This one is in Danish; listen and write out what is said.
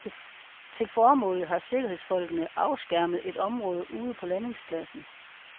Til formålet har sikkerhedsfolkene afskærmet et område ude på landingspladsen.